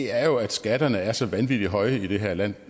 er jo at skatterne er så vanvittig høje i det her land